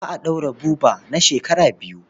Za a ɗaure Buba na shekara biyu.